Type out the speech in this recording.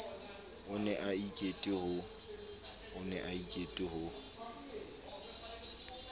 o ne a ikete ho